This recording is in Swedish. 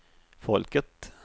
folket